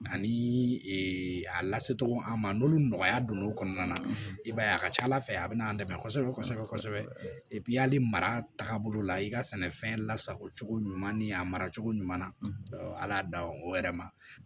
Ani a lasecogo an ma n'olu nɔgɔya donn'o kɔnɔna na i b'a ye a ka ca ala fɛ a bɛna an dɛmɛ kosɛbɛ kosɛbɛ hali mara tagabolo la i ka sɛnɛfɛn lasago cogo ɲuman ni a mara cogo ɲuman na ala y'a da o yɛrɛ ma